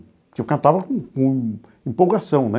Porque eu cantava com com empolgação, né?